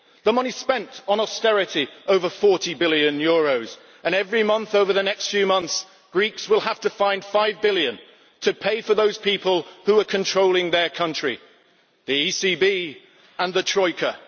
the money spent on austerity over EUR 40 billion and every month over the next few months Greeks will have to find five billion to pay for those people who are controlling their country the ECB and the Troika.